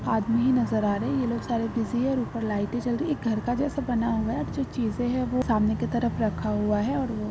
आदमी नज़र आ रहे है यही लोग बिजी है ऊपर लाइट जल रही है घर जैसा बना हुआ है चीज़े है सामने की तरफ रखा हुआ है और --